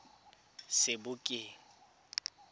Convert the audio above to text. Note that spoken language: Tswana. sebokeng